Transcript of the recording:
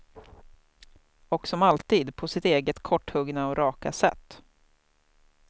Och som alltid på sitt eget korthuggna och raka sätt.